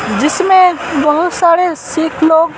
जिसमे बहुत सारे सिख लोग--